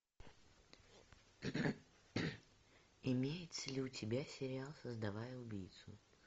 имеется ли у тебя сериал создавая убийцу